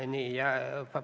Ei ole.